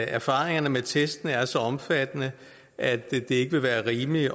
erfaringerne med testene er så omfattende at det ikke vil være rimeligt